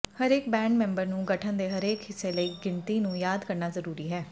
ਹਰੇਕ band member ਨੂੰ ਗਠਨ ਦੇ ਹਰੇਕ ਹਿੱਸੇ ਲਈ ਗਿਣਤੀ ਨੂੰ ਯਾਦ ਕਰਨਾ ਜ਼ਰੂਰੀ ਹੈ